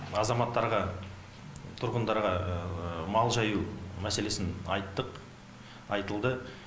азаматтарға тұрғындарға мал жаю мәселесін айттық айтылды